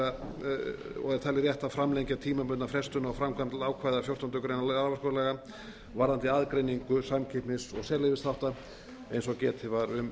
að framlengja tímabundna á frestun á framkvæmd ákvæða fjórtándu greinar raforkulaga um aðgreiningu samkeppnis og sérleyfisþátta eins og getið var um